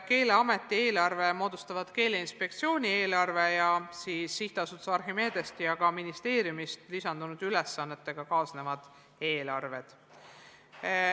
Keeleameti eelarve moodustavad Keeleinspektsiooni eelarve ning ka Archimedesest ja ministeeriumist lisandunud ülesannetega kaasnevad eelarved.